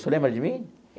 O senhor lembra de mim?